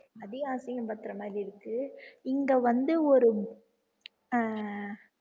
அதையும் அசிங்கப்படுத்துற மாதிரி இருக்கு இங்க வந்து ஒரு அஹ்